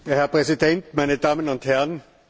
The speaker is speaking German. Herr Präsident, meine Damen und Herren!